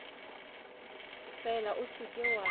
fela o se ke wa